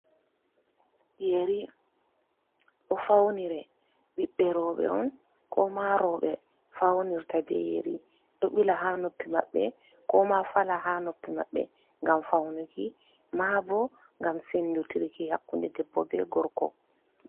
Yeri, ɗo fawnire, ɓiɓɓe rooɓe on, kooma rooɓe fawnirta be yeri, ɗo ɓila haa noppi maɓɓe kooma fala haa noppi maɓɓe, ngam fawnuki, maabo ngam senndu tirki hakkunde debbo be gorko.